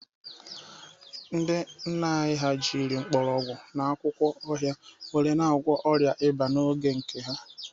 Ndị nna anyị ha jiri mgbọrọgwụ na akwụkwọ ọhịa were na-agwọ ọrịa ịba n'oge nke ha